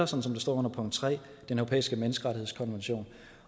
som der står under punkt tre den europæiske menneskerettighedskonvention